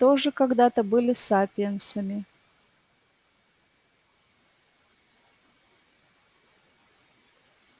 тоже когда-то были сапиенсами